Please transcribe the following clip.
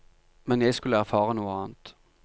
Men jeg skulle erfare noe annet.